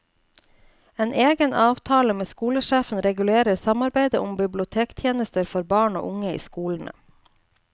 En egen avtale med skolesjefen regulerer samarbeidet om bibliotekstjenester for barn og unge i skolene.